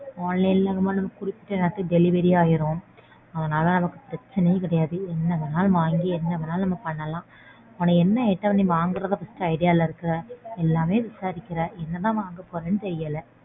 Online ல நாம குறிச்ச நேரத்துக்கு delivery ஆயிடும். அதனால நமக்கு பிரச்சனையே கிடையாது. என்ன வேணாலும் வாங்கி என்ன வேணாலும் நம்ம பண்ணலாம். உனக்கு என்ன item நீ வாங்கறதா first idea ல இருக்க? எல்லாமே விசாரிக்கற? என்னதான் வாங்க போறேன்னு தெரியல.